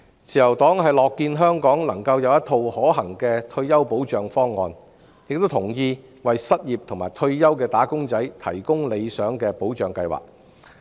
自由黨樂見香港有一套可行的退休保障方案，亦贊同為失業和退休的"打工仔"提供理想的保障計劃。